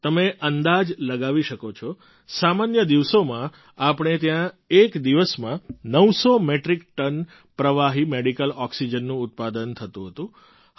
તમે અંદાજ લગાવી શકો છો સામાન્ય દિવસોમાં આપણે ત્યાં એક દિવસમાં ૯૦૦ મેટ્રિક ટન પ્રવાહી મેડિકલ ઑક્સિજનનું ઉત્પાદન થતું હતું